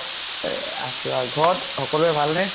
এ আছো আৰু । ঘৰ ত সকলোৰে ভাল নে ?